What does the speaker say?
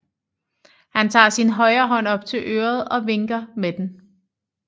Han tager sin højre hånd op til øret og vinker med den